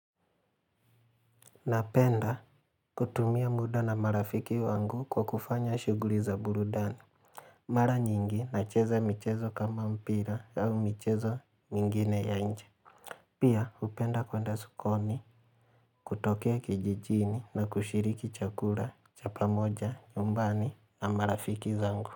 Napenda kutumia muda na marafiki wangu kwa kufanya shughuli za burudani. Mara nyingi nacheza michezo kama mpira au michezo mingine ya nje. Pia hupenda kwenda sokoni, kutokea kijijini na kushiriki chakula, cha pamoja, nyumbani na marafiki zangu.